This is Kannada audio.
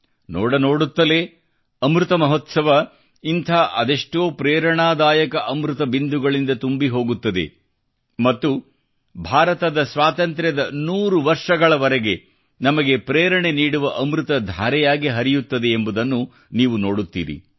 ನೋಡ ನೋಡುತ್ತಲೇ ಅಮೃತ ಮಹೋತ್ಸವ ಇಂಥ ಅದೆಷ್ಟೋ ಪ್ರೇರಣಾದಾಯಕ ಅಮೃತ ಬಿಂದುಗಳಿಂದ ತುಂಬಿ ಹೋಗುತ್ತದೆ ಮತ್ತು ಭಾರತದ ಸ್ವಾತಂತ್ರ್ಯದ 100 ವರ್ಷಗಳವರೆಗೆ ನಮಗೆ ಪ್ರೇರಣೆ ನೀಡುವ ಅಮೃತಧಾರೆಯಾಗಿ ಹರಿಯುತ್ತದೆ ಎಂಬುದನ್ನು ನೀವು ನೋಡುತ್ತೀರಿ